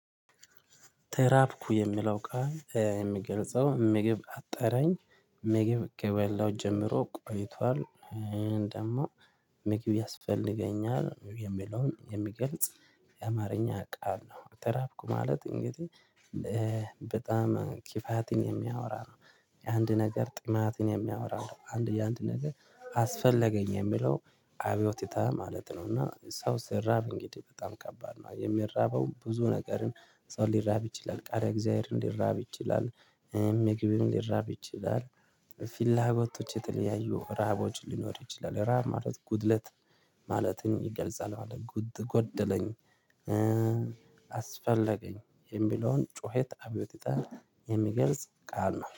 ተራብኩ የሚለው ቃል የሚገልጸው ምግብ አጠረኝ ምግብ ከበለሁ ጀምሮ ቆይቷል ደግሞ ምግብ ያስፈልገኛል የሚለውን የሚገልጽ የአማርኛ ቃል ነው። ተራብኩ ማለት እንግዲህ በጣም ኪፋትን የሚያወራ ነው። የአንድ ነገር ጥማትን የሚያወራ ነው አንድ የአንድ ነገር አስፈለገኝ የሚለው አብዮቲታ ይታ ማለት ነው። እና ሰው ስራብ እንግዲህ በጣም ከባድ ነው የሚራበው ብዙ ነገርን ሰው ሊራብ ይችላል ቃል እግዚአብሔርን ሊራብ ይችላል። ምግብም ሊራብ ይችላል። ፊላጎቶች የተለያዩ ረሃቦች ሊኖር ይችላል ረሃብ ማለት ጉድለት ማለትን ይገልጻል። ማለት ጉድ ጎደለኝ። አስፈለገኝ የሚለውን ጩኸት አብዮቱታ የሚገልጽ ቃል ነው